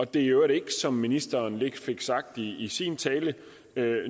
det i øvrigt ikke som ministeren lidt fik sagt i sin tale er